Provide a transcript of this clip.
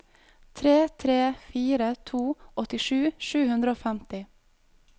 tre tre fire to åttisju sju hundre og femti